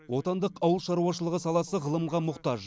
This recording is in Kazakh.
отандық ауыл шаруашылығы саласы ғылымға мұқтаж